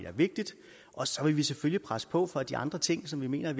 er vigtigt og så vil vi selvfølgelig presse på for at de andre ting som vi mener